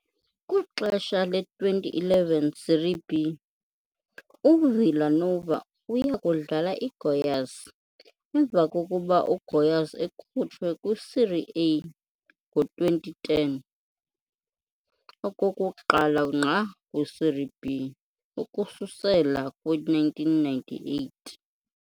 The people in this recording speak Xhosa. Kwixesha le-2011 Série B, uVila Nova uya kudlala iGoiás, emva kokuba uGoias ekhutshwe kwi-Série A ngo-2010, okokuqala ngqa kwi-Série B ukususela kwi-1998.